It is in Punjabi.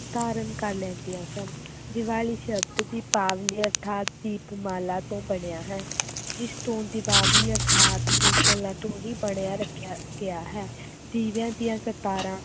ਧਾਰਨ ਕਰ ਲੈਂਦੀਆਂ ਸਨ, ਦੀਵਾਲੀ ਸ਼ਬਦ ਦੀਪਾਵਲੀ ਅਰਥਾਤ ਦੀਪਮਾਲਾ ਤੋਂ ਬਣਿਆ ਹੈ, ਜਿਸ ਤੋਂ ਦੀਪਾਵਲੀ ਅਰਥਾਤ ਦੀਪਮਾਲਾ ਤੋਂ ਬਣਿਆ ਰੱਖਿਆ ਗਿਆ ਹੈ ਦੀਵਿਆਂ ਦੀਆਂ ਕਤਾਰਾਂ,